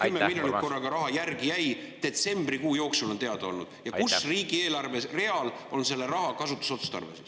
… kust see 10 miljonit korraga järele jäi, mis detsembrikuu jooksul on teada olnud, ja millisel riigieelarve real on selle raha kasutusotstarve.